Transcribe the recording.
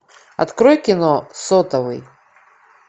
открой кино сотовый